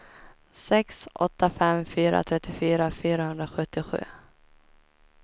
sex åtta fem fyra trettiofyra fyrahundrasjuttiosju